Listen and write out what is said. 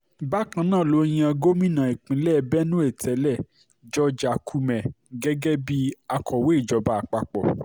bákan náà ló yan gómìnà ìpínlẹ̀ benue tẹ́lẹ̀ george akume gẹ́gẹ́ bíi akọ̀wé ìjọba àpapọ̀